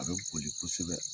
A bɛ boli kosɛbɛ